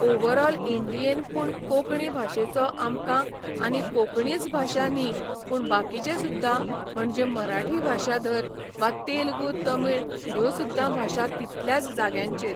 overall इंडियेन पूण कोंकणी भाशेचो आमकां आनी कोंकणीच भाशा न्ही पूण बाकीचे सुद्दां म्हणजे मराठी भाशा धर वा तेलगू तमीळ ह्यो सुद्दां भाशा तितल्याच जाग्यांचेर